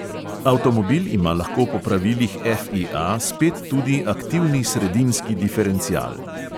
Avtomobil ima lahko po pravilih FIA spet tudi aktivni sredinski diferencial.